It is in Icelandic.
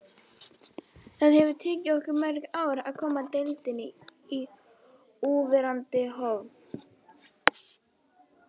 Það hefði tekið okkur mörg ár að koma deildinni í núverandi horf.